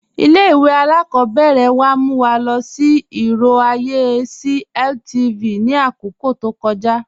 Ilẹ̀-ìwé alákọ̀bẹ̀rẹ̀ wa mú wa lọ sí irò ayé sí LTV ni akókò tó kọ̀ja.